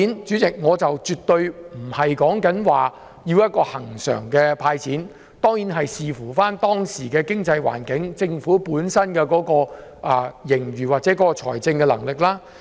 主席，我說的絕對不是要恆常"派錢"，而是要視乎當時的經濟環境、政府本身的盈餘或財政能力。